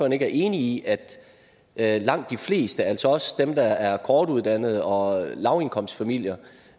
ikke er enig i at langt de fleste altså også dem der er kortuddannede og lavindkomstfamilier